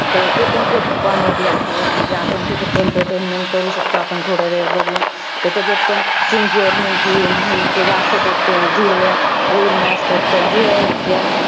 तर ते पण खूप comedy आहे. म्हणजे आपण त्याच्यातनं entertainment करू शकतो, आपण थोडावेळ बघून. तर त्याचात पण म्हणजे, ते दाखवतात ते, जुडव्या बहिणी असतात. त जुळ्या आहेत त्या.